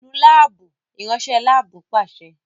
É Nu laabu! iranṣẹ lab paṣẹ